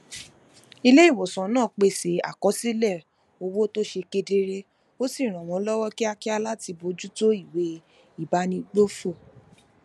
iléìwòsàn náà pèsè àkọsílè owó tó ṣe kedere ó sì ràn wón lówó kíákíá láti bójú tó ìwé ìbánigbófò